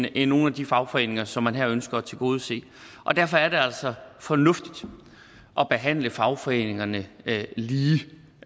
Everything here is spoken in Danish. end nogle af de fagforeninger som man her ønsker at tilgodese derfor er det altså fornuftigt at behandle fagforeningerne lige